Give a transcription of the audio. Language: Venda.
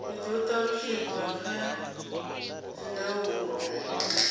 dzi do talutshedzwa kha dzindaulo